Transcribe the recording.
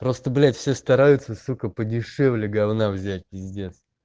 просто блять все стараются сука подешевле говна взять пиздец